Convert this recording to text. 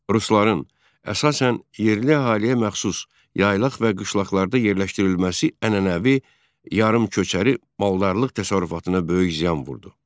Rusların əsasən yerli əhaliyə məxsus yaylaq və qışlaqlarda yerləşdirilməsi ənənəvi yarımköçəri maldarlıq təsərrüfatına böyük ziyan vurdu.